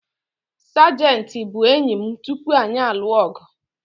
Sajenti bụ enyi m tupu anyị alụ ọgụ